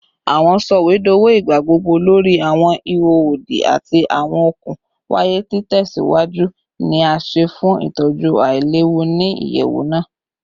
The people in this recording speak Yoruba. Awọn sọwedowo igbagbogbo lori awọn iho odi ati awọn okun waya itẹsiwaju ni a ṣe fun itọju ailewu ni iyẹwu naa